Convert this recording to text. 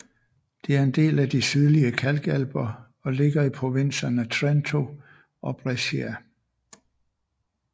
Det er en del af de Sydlige kalkalper og ligger i provinserne Trento og Brescia